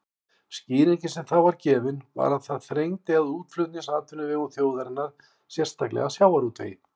Skýringin sem þá var gefin var að það þrengdi að útflutningsatvinnuvegum þjóðarinnar, sérstaklega sjávarútvegi.